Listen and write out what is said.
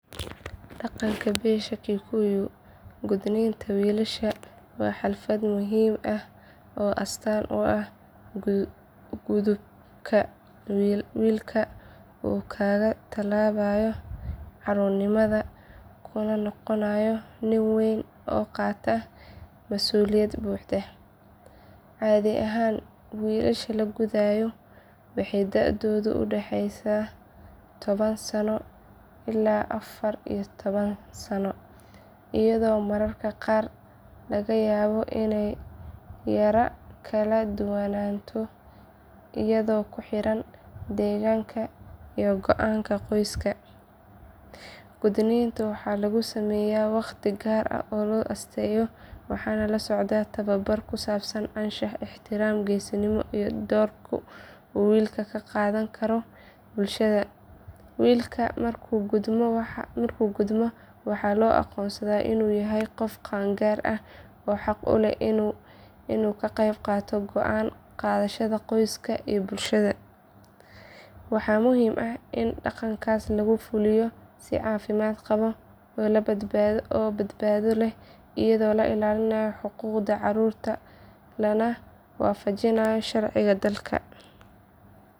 Dhaqanka beesha kikuyu gudniinka wiilasha waa xaflad muhiim ah oo astaan u ah gudubka wiilka uu kaga tallaabayo carruurnimada kuna noqonayo nin weyn oo qaata masuuliyad buuxda. Caadi ahaan wiilasha la gudayo waxay da'doodu u dhaxaysaa toban sano ilaa afar iyo toban sano iyadoo mararka qaar laga yaabo inay yara kala duwanaato iyadoo ku xiran deegaanka iyo go'aanka qoyska. Gudniinka waxaa lagu sameeyaa waqti gaar ah oo loo asteeyo waxaana la socda tababar ku saabsan anshaxa, ixtiraamka, geesinimada iyo doorka uu wiilka ka qaadan doono bulshada. Wiilka markuu gudmo waxaa loo aqoonsadaa inuu yahay qof qaangaar ah oo xaq u leh inuu ka qayb qaato go'aan qaadashada qoyska iyo bulshada. Waxaa muhiim ah in dhaqankaas lagu fuliyo si caafimaad qaba oo badbaado leh iyadoo la ilaalinayo xuquuqda carruurta lana waafajinayo sharciga dalka.